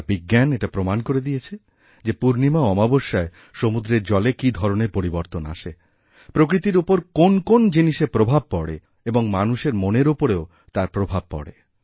আর বিজ্ঞান এটাপ্রমাণ করে দিয়েছে যে পূর্ণিমা ও অমাবস্যায় সমুদ্রের জলে কী ধরণের পরিবর্তন আসেপ্রকৃতির ওপর কোন্ কোন্ জিনিসের প্রভাব পড়ে এবং মানুষের মনের ওপরেও তার প্রভাব পড়ে